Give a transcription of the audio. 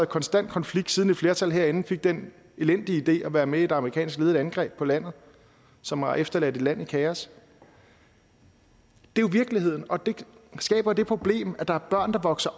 konstant konflikt siden et flertal herinde fik den elendige idé at være med i et amerikansk ledet angreb på landet som har efterladt et land i kaos det er jo virkeligheden og det skaber det problem at der er børn der vokser